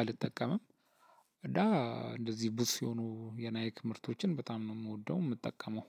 አልጠቀመም። እና እንደዚህ ቡትስ የሆኑ የናይክ ምርቶችን በጣም ነው የምወደው የምጠቀመው።